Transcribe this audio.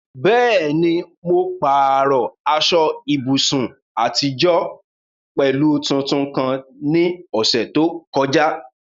Bẹ́ẹ̀ ni, mo pààrọ̀ aṣọ ìbùsùn àtijọ́ pẹ̀lú tuntun kan ní ọ̀sẹ̀ tó kọjá.